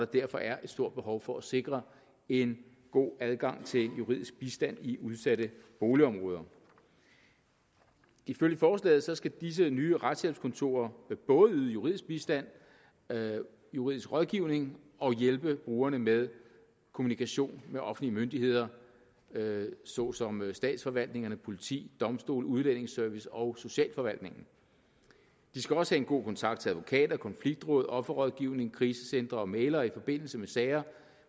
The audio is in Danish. derfor er et stort behov for at sikre en god adgang til juridisk bistand i udsatte boligområder ifølge forslaget skal disse nye retshjælpskontorer både yde juridisk bistand juridisk rådgivning og hjælpe brugerne med kommunikation med offentlige myndigheder såsom statsforvaltningerne politi domstole udlændingeservice og socialforvaltningen de skal også have en god kontakt til advokater konfliktråd offerrådgivning krisecentre og mæglere i forbindelse med sager